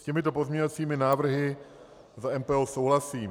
S těmito pozměňovacími návrhy za MPO souhlasím.